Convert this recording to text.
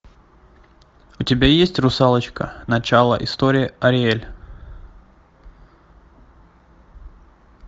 у тебя есть русалочка начало истории ариэль